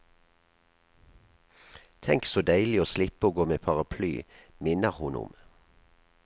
Tenk så deilig å slippe å gå med paraply, minner hun om.